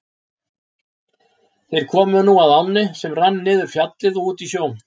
Þeir komu nú að ánni sem rann niður Fjallið og út í sjó.